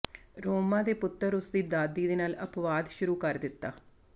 ਰੋਮਾ ਦੇ ਪੁੱਤਰ ਉਸ ਦੀ ਦਾਦੀ ਦੇ ਨਾਲ ਅਪਵਾਦ ਸ਼ੁਰੂ ਕਰ ਦਿੱਤਾ